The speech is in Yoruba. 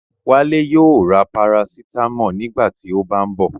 Wálé yóò ra Parasítámọ̀ nígbà tí ó bá ń bọ̀